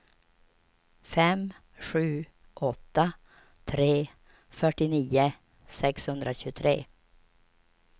fem sju åtta tre fyrtionio sexhundratjugotre